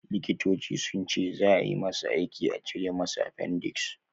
Likitoci sunce zaa ayi masa aiki a cire masa appendix